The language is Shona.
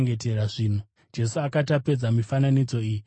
Jesu akati apedza mifananidzo iyi, akabvapo.